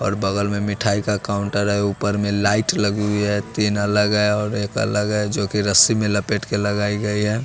और बगल में मिठाई का कॉन्टर है ऊपर में लाइट लगी हुई है तीन अलग है और एक अलग है जो कि रस्सी में लपेट के लगाई गई है।